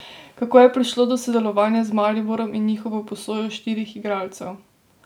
Kako je prišlo do sodelovanja z Mariborom in njihovo posojo štirih igralcev?